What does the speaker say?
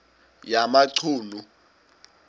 yamachunu